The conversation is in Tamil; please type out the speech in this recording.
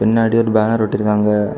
பின்னாடி ஒரு பேனர் ஒட்டி இருக்காங்க.